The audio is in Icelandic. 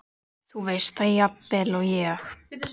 Þú veist það jafnvel og ég.